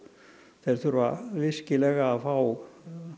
þeir þurfa virkilega að fá